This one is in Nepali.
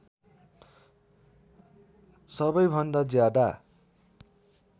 सबै भन्दा ज्यादा